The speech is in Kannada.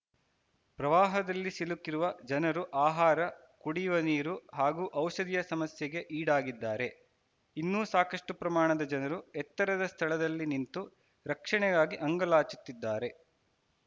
ಪ್ರವಾಹದಲ್ಲಿ ಸಿಲುಕಿರುವ ಜನರು ಆಹಾರ ಕುಡಿಯುವ ನೀರು ಹಾಗೂ ಔಷಧಿಯ ಸಮಸ್ಯೆಗೆ ಈಡಾಗಿದ್ದಾರೆ ಇನ್ನೂ ಸಾಕಷ್ಟುಪ್ರಮಾಣದ ಜನರು ಎತ್ತರದ ಸ್ಥಳದಲ್ಲಿ ನಿಂತು ರಕ್ಷಣೆಗಾಗಿ ಅಂಗಲಾಚುತ್ತಿದ್ದಾರೆ